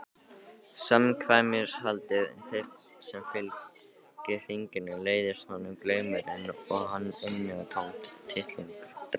Samkvæmishaldið sem fylgir þinginu leiðist honum, glaumurinn og innantómt tittlingadrápið.